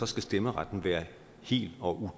stemmeretten være hel og